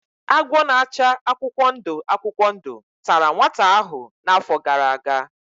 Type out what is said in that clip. Agwọ na-acha akwụkwọ ndụ akwụkwọ ndụ tara nwata ahụ n'afọ gara aga.